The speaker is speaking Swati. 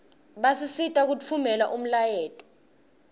basisita kutfumela umlayeto